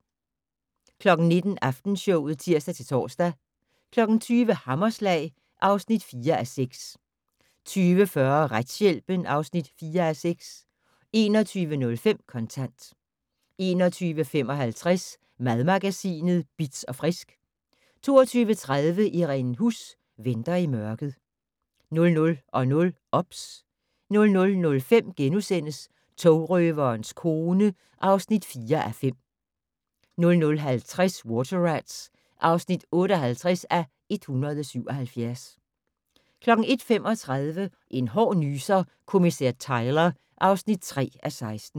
19:00: Aftenshowet (tir-tor) 20:00: Hammerslag (4:6) 20:40: Retshjælpen (4:6) 21:05: Kontant 21:55: Madmagasinet Bitz & Frisk 22:30: Irene Huss: Venter i mørket 00:00: OBS 00:05: Togrøverens kone (4:5)* 00:50: Water Rats (58:177) 01:35: En hård nyser: Kommissær Tyler (3:16)